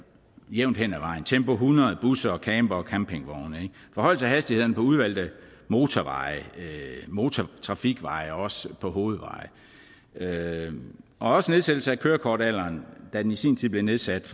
jævnt hen ad vejen tempo hundrede busser campere og campingvogne forhøjelse af hastigheden på udvalgte motorveje motortrafikveje og også på hovedveje og også nedsættelse af kørekortalderen da den i sin tid blev nedsat